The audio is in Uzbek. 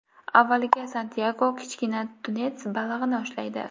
Avvaliga Santyago kichkina tunets balig‘ini ushlaydi.